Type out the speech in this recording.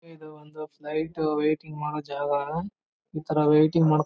ಇದು ಒಂದು flight waiting ಮಾಡೋ ಜಾಗ ಇತರ ವೆಯಿಟಿಂಗ್ ಮಾಡ್ಕೊ--